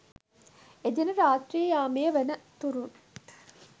එදින රාත්‍රී යාමය වන තුරුත්